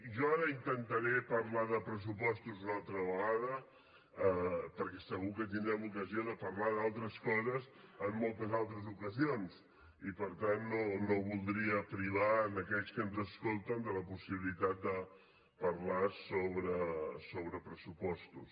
jo ara intentaré parlar de pressupostos una altra vegada perquè segur que tindrem ocasió de parlar d’altres coses en moltes altres ocasions i per tant no voldria privar aquells que ens escolten de la possibilitat de parlar sobre pressupostos